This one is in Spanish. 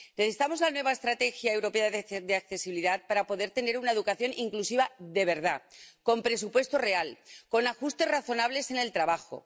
Necesitamos la nueva Estrategia Europea sobre Discapacidad para poder tener una educación inclusiva de verdad, con presupuesto real, con ajustes razonables en el trabajo.